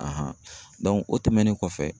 o tɛmɛnen kɔfɛ